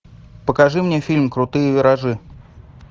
покажи мне фильм крутые виражи